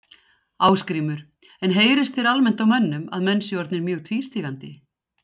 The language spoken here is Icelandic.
Ásgrímur: En heyrist þér almennt á mönnum að menn séu orðnir mjög tvístígandi?